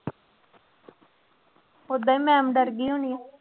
ਓਦਾਂ ਹੀ ma'am ਡਰ ਗਈ ਹੋਣੀ ਆਂ।